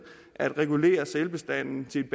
at regulere sælbestanden til